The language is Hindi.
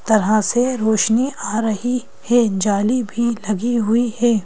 तरह से रोशनी आ रही है जाली भी लगी हुई है।